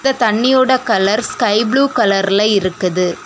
இந்த தண்ணியோட colour sky blue கலர்ல இருக்குது.